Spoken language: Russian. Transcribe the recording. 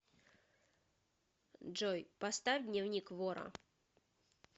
джой поставь дневник вора